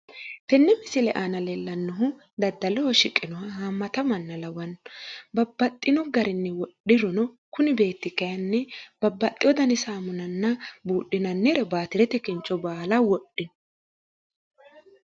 tenne misile aana leellannohu daddaloho shiqinoha haammata manna lawanno babbaxino garinni wodhirono kuni beetti kayiinni babbaxino dani saamunanna buudhinannirena baatirete kincho baala wodhino